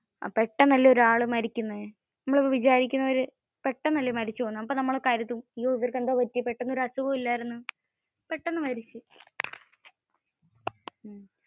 പെട്ടന്നു അല്ലെ ഒരാൾ മരിക്കുന്നെ. പെട്ടെന്നു അല്ലെ മരിച്ചു പോകുന്നെ. അപ്പോ നമ്മൾ കരുതും ആയോ അവര്ക് എന്താ പറ്റിയെ പെട്ടന്നു ഒരു അസുഖവും ഇല്ലായർന്ന്. പെട്ടന്ന് മരിച്ചല്ലോ